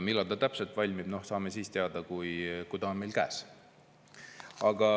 Millal ta täpselt valmib, saame siis teada, kui ta on meil käes.